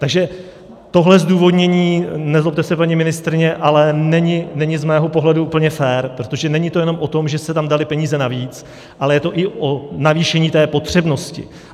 Takže tohle zdůvodnění, nezlobte se, paní ministryně, ale není z mého pohledu úplně fér, protože není to jenom o tom, že se tam daly peníze navíc, ale je to i o navýšení té potřebnosti.